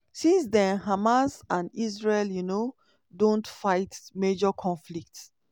since den hamas and israel um don fight major conflicts.